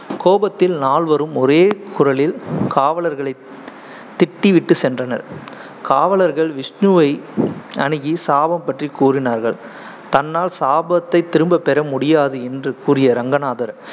கோபத்தில் நால்வரும் ஒரே குரலில் காவலர்களை திட்டி விட்டு சென்றனர். காவலர்கள் விஷ்ணுவை அணுகி சாபம் பற்றி கூறினார்கள். தன்னால் சாபத்தைத் திரும்பப் பெற முடியாது என்று கூறிய ரங்கநாதர்